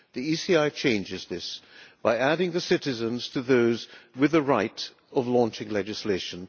The ECI changes this by adding the citizens to those with the right of launching legislation.